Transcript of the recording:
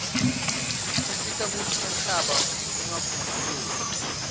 tisita kutsi umhlaba ungakhukhuleiu